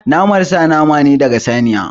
Naman sa nama ne daga saniya.